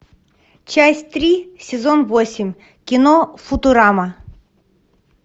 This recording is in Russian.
часть три сезон восемь кино футурама